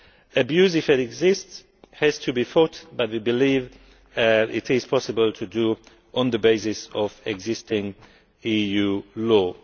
Abuse, if it exists, has to be fought, but we believe that it is possible to do this on the basis of existing EU law.